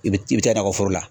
I bi i bi taa nakɔ foro la.